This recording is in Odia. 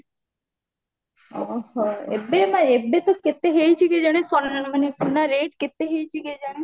ଓହୋ ଏବେ ନା ଏବେ ତ କେତେ ହେଇଚି କେଜାଣି ମାନେ ସୁନା rate କେତେ ହେଇଚି କେଜାଣି